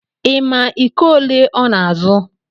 Ị ma iko ole ọ na-azụ